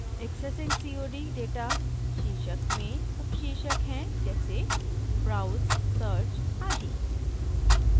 accessing cod data शीर्षक में उपशीर्षक हैं जैसे browse search आदि